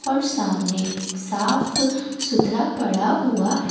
और सामने साफ सुथरा पड़ा हुआ है ।